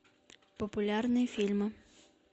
популярные фильмы